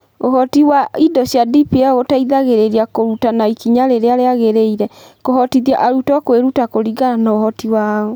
Ũhoti wa indo cia DPL gũteithĩrĩria ' kũruta na ikinya rĩrĩa rĩagĩrĩire' (TARL), kũhotithia arutwo kwĩruta kũringana na ũhoti wao.